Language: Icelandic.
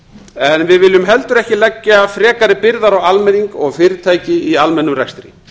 en við viljum heldur ekki leggja frekari byrðar á almenning og fyrirtæki í almennum rekstri